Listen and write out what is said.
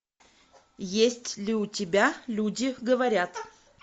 есть ли у тебя люди говорят